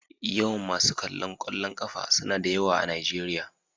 Yawan masu kallon kwallon kafa suna da yawa a Najeriya.